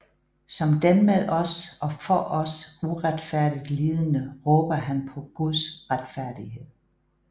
Som den med os og for os uretfærdigt lidende råber han på Guds retfærdighed